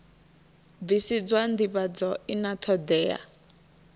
bvisiswa ndivhadzo i na thodea